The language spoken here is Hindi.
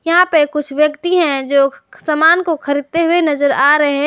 यहां पर कुछ व्यक्ति हैं जो सामान को खरीदते हुए नजर आ रहे हैं।